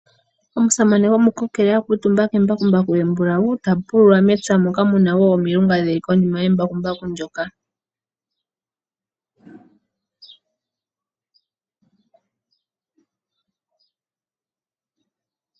Omusamane gomukokele a kuutumba kembakumbaku embulawu tapulula mepya moka muna woo omilunga dhili konima yembakumbaku ndyoka.